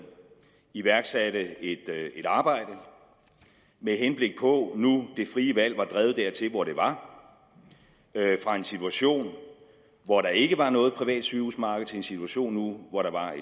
iværksatte et arbejde med henblik på nu det frie valg var drevet dertil hvor det var fra en situation hvor der ikke var noget privat sygehusmarked til en situation nu hvor der var